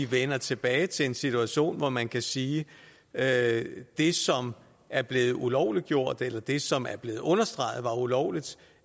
vender tilbage til en situation hvor man kan sige at det som er blevet ulovliggjort eller det som er blevet understreget var ulovligt